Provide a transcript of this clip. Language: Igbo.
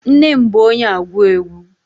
Nne m bụ onye agwu egwu.